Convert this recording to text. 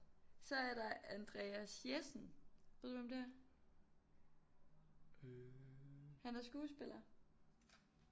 Så er der Andreas Jessen ved du hvem det er han er skuespiller